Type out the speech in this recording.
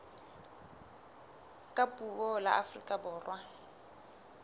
ka puo la afrika borwa